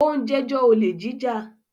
ó ń “ jẹ́jọ́” olè jíjà.